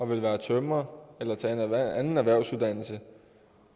være tømrer eller tage en anden erhvervsuddannelse